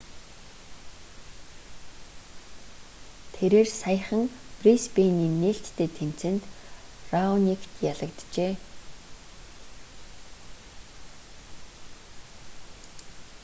тэрээр саяхан брисбэйний нээлттэй тэмцээнд раоникт ялагджээ